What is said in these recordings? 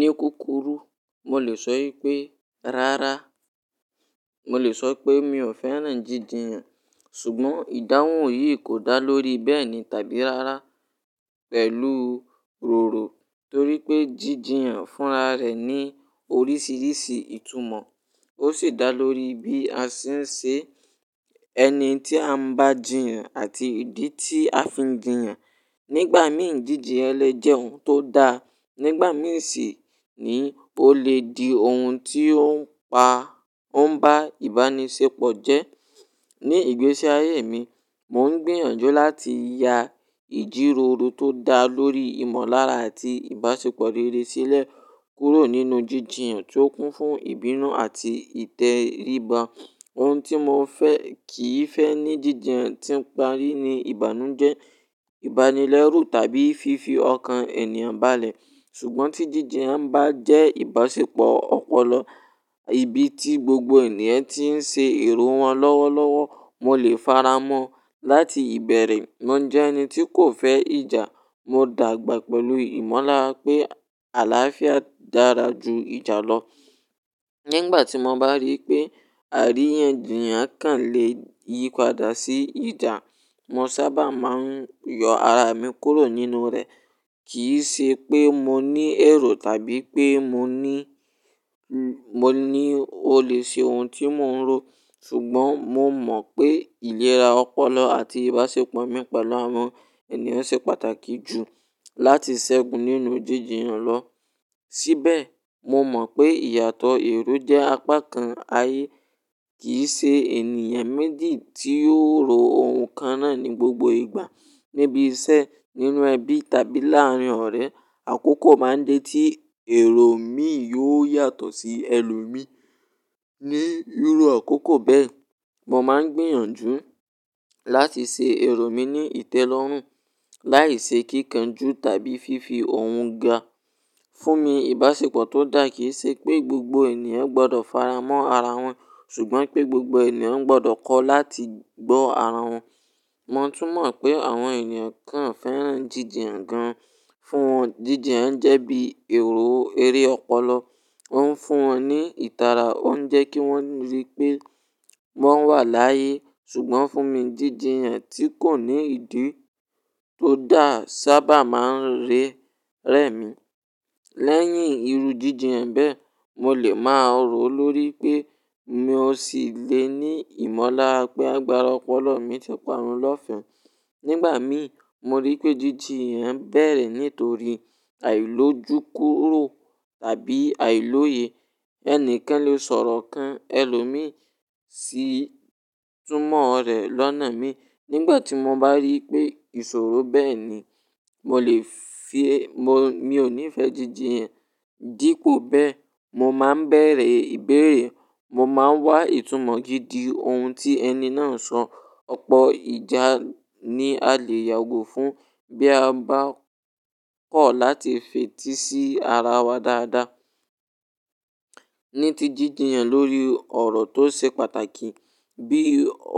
Ní kukuru, mo lè sọ pé rárá. Mo lè sọ pé mi ò fẹ́ràn jíjìn yàn, ṣùgbọ́n ìdáhùn yìí kò dá lórí bẹ́ẹ̀ni tàbí rárá pẹ̀lú roro, torí pé jíjìn yàn fúnra rẹ̀ ní oríṣiríṣi ìtumọ̀. Ó sì dá lórí bí a ṣe ń ṣe ẹni tí a ń bá jìyàn àti ìdí tí a fi n jìyàn. Nígbà mìí, jíjìyan lẹ́ jẹ́ ohun tó da, nígbà mìí sì ni ó lè di ohun tí ó ń pa, ó ń bá ìbánisẹ́pọ̀ jẹ́. Ní ìgbésí ayé mi, mò ń gbìyànjú láti ya ìjíròrò tó da lórí ìmọ̀lára àti ìbáṣepọ̀ rere sílẹ̀ kúrò nínú jíjì yàn tí ó kún fún ìbínú àti ìtẹríba. Ohun tí mo fẹ́ kì í fẹ́ ní jíjìn yàn tí ń parí ní ìbànújẹ́, ìbánilẹ́rú tàbí fífi ọkàn ènìyàn balẹ̀. Ṣùgbọ́n tí jíjì yàn bá jẹ́ ìbáṣepọ̀ ọpọlọ, ibi tí gbogbo ènìyàn tí ń ṣe èrò wọn lọ́wọ́lọ́wọ́, mo lè faramọ́. Láti ìbẹ̀rẹ̀, mo jẹ́ ẹni tí kò fẹ́ ìjà. Mo dàgbà pẹ̀lú ìmọ̀lára pé àlàáfíà dára ju ìjà lọ. Nígbà tí mo bá rí pé àríyànjiyàn kàn lè yípadà sí ìjà, mo sábà máa ń yọ ara mi kúrò nínú rẹ̀. Kì í ṣe pé mo ní èrò tàbí pé mo ní, mo ní ó lè ṣe ohun tí mò ń ro, ṣùgbọ́n mo mọ̀ pé ìlera ọpọlọ àti ìbáṣepọ̀ mìpẹlu àwọn ènìyàn ṣe pàtàkì jù láti ṣẹ́gun nínú jíjìn yàn lọ. Síbẹ̀, mo mọ̀ pé ìyàtọ̀ èrò jẹ́ apá kan ayé. Kì í ṣe ènìyàn méjì tí yóò ro ohun kan náà ní gbogbo ìgbà. Níbi iṣẹ́, nínú ẹbí tàbí láàárin ọ̀rẹ́, àkókò máa ń dé tí èrò mi yóò yàtọ̀ sí ẹlòmíí. Ni irú àkókò bẹ́ẹ̀, mo máa ń gbìyànjú láti ṣe èrò mi ní ìtẹ́lọ́rùn, láì ṣe kíkanjú tàbí fífi òun ga. Fún mi, ìbáṣepọ̀ tó dà kì í ṣe pé gbogbo ènìyàn gbọdọ̀ faramọ́ ara wọn, ṣùgbọ́n pé gbogbo ènìyàn gbọdọ̀ kọ́ láti gbọ́ ara wọn. Mo tún mọ̀ pé àwọn ènìyàn kan fẹ́ràn jíjìn yàn gan fún wọn. Jíjìn yàn jẹ́ bí èrò eré ọpọlọ, ó ń fún wọn ní ìtara, ó ń jẹ́ kí wọ́n rí pé wọ́n wà láyé. Ṣùgbọ́n fún mi, jíjìn yàn tí kò ní ìdí tó dà sábà máa ń rẹ, rẹ́ mi. Lẹ́yìn irú jíjìn yàn bẹ́ẹ̀, mo lè máa ròó lórí pé mi ò sì le ni ìmọ̀lára pé agbára ọpọlọ mi ti parun lọ́fẹ̀mẹ́. Nígbà mìí, mo rí pé jíjìn yàn bẹ̀rẹ̀ nítorí àìlójúkúrò àbí àìlóye. Ẹni kán lè sọ̀rọ̀ kan ẹlòmíí sí túmọ̀ rẹ̀ lọ́nà míì. Nígbà tí mo bá rí pé ìṣòro bẹ́ẹ̀ ni, mo lè fi, mo, mi ò níí fẹ́ jíjìn yàn. Dípò bẹ́ẹ̀, mo máa ń bẹ̀rẹ̀ ìbéèrè. Mo máa ń wá ìtumọ̀ gidi ohun tí ẹni náà sọ. Ọ̀pọ̀ ìjà ni a lè yàgò fún bí a bá kọ̀ láti fetí sí ara wa dáadáa. Ní ti jíjìn yàn lórí ọ̀rọ̀ tó ṣe pàtàkì bí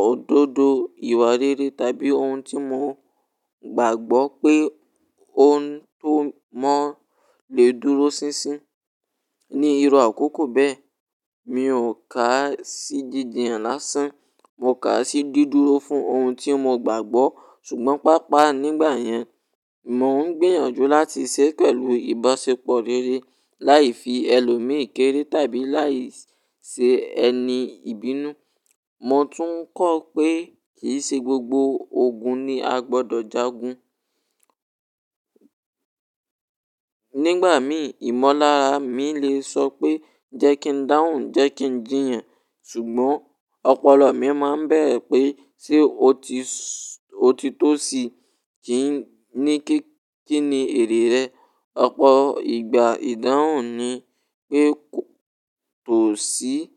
òdodo, ìwà rere tàbí ohun tí mo gbàgbọ́ pé òún tó mọ́ lè dúró sínsín. Ni irú àkókò bẹ́ẹ̀, mi ò kà á sí jíjìn yàn lásán. Mo kà á sí dudúró fún ohun tí mo gbàgbọ́. Ṣùgbọ́n pàápàá nígbà yẹn, mò ń gbìyànjú láti ṣe pẹ̀lú ìbáṣepọ̀ rere láì fi ẹlòmíì kéré tàbí láì ṣe ẹni ìbínú. Mo tún kọ́ pé kì í ṣe gbogbo ogun ni a gbọdọ̀ jágun. Nígbà mìí, ìmọ̀lára mi lè sọ pé jẹ́ kí n dáhùn, jẹ́ kí n jìyàn, ṣùgbọ́n ọpọlọ mi máa ń bẹ̀rẹ̀ pé ṣé ó ti sọ, ó ti tó sí, kí ni, kí ni èrè rẹ̀? Ọ̀pọ̀ ìgbà ìdáhùn ni pé kò tó sí. N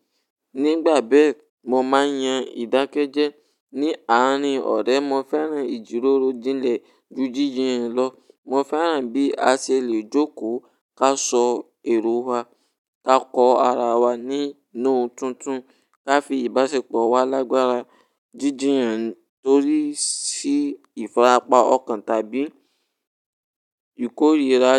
Nígbà bẹ́ẹ̀, mo máa yan ìdákẹ́jẹ́. Ni àárín ọ̀rẹ́, mo fẹ́ràn ìjíròrò jinle ju jíjìn yàn lọ. Mo fẹ́ràn bí a ṣe lè jókòó ká sọ èrò wa, ká kọ ara wa ní nú tuntun, ká fi ìbáṣepọ̀ wa lágbára. Jíjìn yàn torí ṣí ìfarapa ọkàn tàbí ìkórìíra.